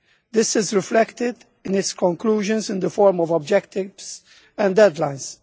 This is reflected in its conclusions in the form of objectives and deadlines.